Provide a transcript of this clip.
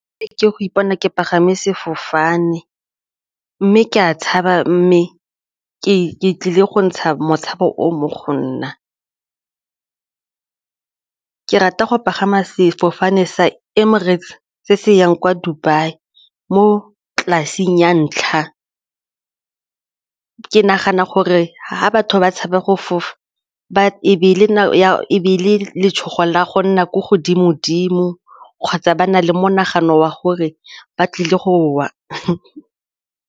Ke go ipona ke pagame sefofane mme ke a tshaba mme ke tlile go ntsha motshameko o mo go nna. Ke rata go pagama sefofane sa Emirates se se yang kwa Dubai mo class-eng ya ntlha, ke nagana gore ga batho ba tshaba go fofa letshogo la go nna ko godimo-dimo kgotsa ba na le monagano wa gore ba tlile go wa.